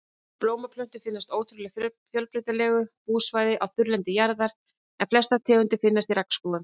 Blómplöntur finnast á ótrúlega fjölbreytilegu búsvæði á þurrlendi jarðar en flestar tegundir finnast í regnskógunum.